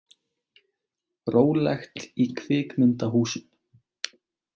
Rólegt í kvikmyndahúsum